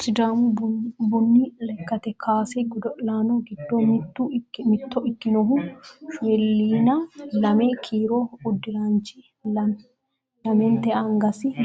Sidaamu buni lekkate kaase godo'laano giddo mitto ikkinohu shoolaayina lame kiiro uddiraanchi